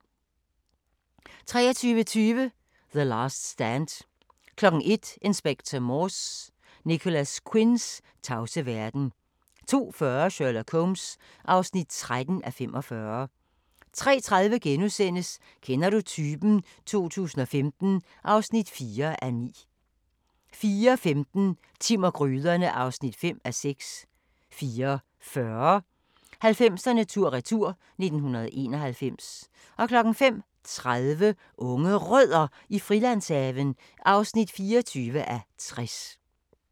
23:20: The Last Stand 01:00: Inspector Morse: Nicholas Quinns tavse verden 02:40: Sherlock Holmes (13:45) 03:30: Kender du typen? 2015 (4:9)* 04:15: Timm og gryderne (5:6) 04:40: 90'erne tur-retur: 1991 05:30: Unge Rødder i Frilandshaven (24:60)